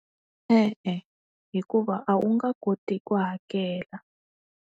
E-e, hikuva a wu nga koti ku hakela.